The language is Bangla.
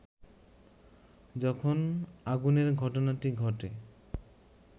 যখন আগুনের ঘটনাটি ঘটে